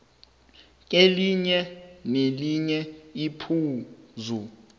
kelinye nelinye iphuzu